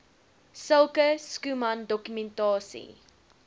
sulke schoeman dokumentasie